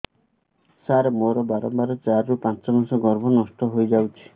ସାର ମୋର ବାରମ୍ବାର ଚାରି ରୁ ପାଞ୍ଚ ମାସ ଗର୍ଭ ହେଲେ ନଷ୍ଟ ହଇଯାଉଛି